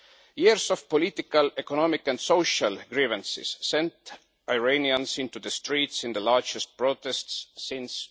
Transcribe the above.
Years of political, economic and social grievances sent Iranians into the streets in the largest protests since